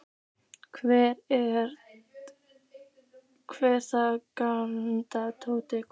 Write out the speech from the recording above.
Hver er þar? galaði Tóti einhvers staðar úr húsinu.